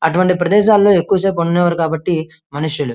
అటువంటి ప్రదేశలో ఎక్కువ సేపు ఉండానివరూ కాబట్టి మనుషులు.